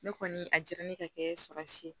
Ne kɔni a diyara ne ka kɛ saba si ye